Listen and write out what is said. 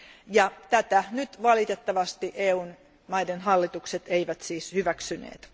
Ja tätä nyt valitettavasti EU maiden hallitukset eivät siis hyväksyneet.